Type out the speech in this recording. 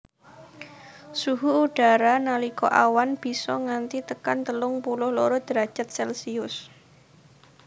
Suhu udara nalika awan bisa nganti tekan telung puluh loro derajat celcius